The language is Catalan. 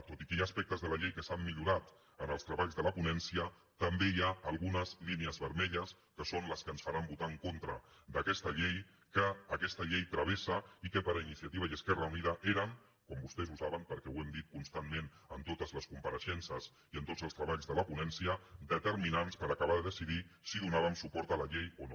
tot i que hi ha aspectes de la llei que s’han millorat en els treballs de la ponència també hi ha algunes línies vermelles que són les que ens faran votar en contra d’aquesta llei que aquesta llei travessa i que per iniciativa i esquerra unida eren com vostès saben perquè ho hem dit constantment en totes les compareixences i en tots els treballs de la ponència determinants per acabar de decidir si donàvem suport a la llei o no